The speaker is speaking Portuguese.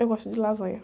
Eu gosto de lasanha.